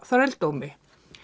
þrældómi